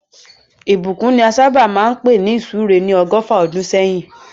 Ìbùkún ni a sábà máa ń pè ní ìsúre ní ọgọ́fà ọdún sẹ́yìn